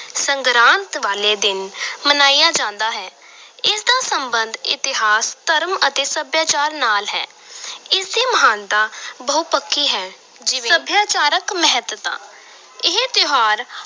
ਸੰਗਰਾਂਦ ਵਾਲੇ ਦਿਨ ਮਨਾਇਆ ਜਾਂਦਾ ਹੈ ਇਸ ਦਾ ਸਬੰਧ ਇਤਿਹਾਸ ਧਰਮ ਅਤੇ ਸੱਭਿਆਚਾਰ ਨਾਲ ਹੈ ਇਸ ਦੀ ਮਹਾਨਤਾ ਬਹੁਪੱਖੀ ਹੈ ਜਿਵੇਂ, ਸਭਿਆਚਾਰਕ ਮਹੱਤਤਾ ਇਹ ਤਿਉਹਾਰ